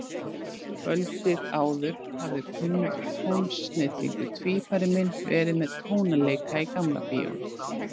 Kvöldið áður hafði kunnur tónsnillingur, tvífari minn, verið með tónleika í Gamla Bíó.